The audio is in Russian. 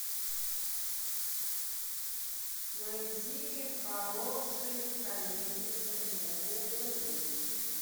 найди хорошие комедии современные зарубежные